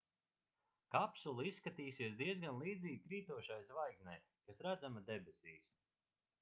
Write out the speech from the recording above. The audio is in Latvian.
kapsula izskatīsies diezgan līdzīga krītošai zvaigznei kas redzama debesīs